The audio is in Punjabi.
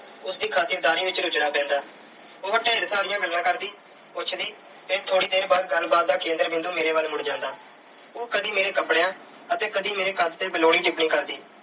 ਉਸ ਦੀ ਖਾਤਰਦਾਰੀ ਵਿੱਚ ਰੁਝਨਾ ਪੈਂਦਾ। ਉਹ ਢੇਰ ਸਾਰੀਆਂ ਗੱਲਾਂ ਕਰਦੀ, ਪੁੱਛਦੀ ਤੇ ਥੋੜ੍ਹੀ ਦੇਰ ਬਾਅਦ ਗੱਲਬਾਤ ਦਾ ਕੇਂਦਰ ਬਿੰਦੂ ਮੇਰੇ ਵੱਲ ਮੁੜ ਜਾਂਦਾ। ਉਹ ਕਦੀ ਮੇਰੇ ਕੱਪੜਿਆਂ ਅਤੇ ਕਦੀ ਮੇਰੇ ਕੱਦ ਤੇ ਬੇਲੋੜੀ ਟਿੱਪਣੀ ਕਰਦੀ